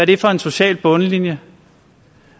det for en social bundlinje